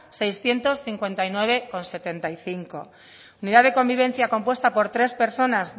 seiscientos cincuenta y nueve coma setenta y cinco unidad de convivencia compuesta por tres personas